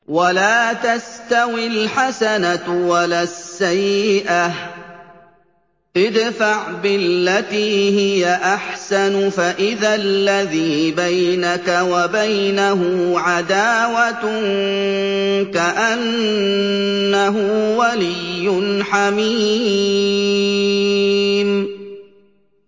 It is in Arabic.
وَلَا تَسْتَوِي الْحَسَنَةُ وَلَا السَّيِّئَةُ ۚ ادْفَعْ بِالَّتِي هِيَ أَحْسَنُ فَإِذَا الَّذِي بَيْنَكَ وَبَيْنَهُ عَدَاوَةٌ كَأَنَّهُ وَلِيٌّ حَمِيمٌ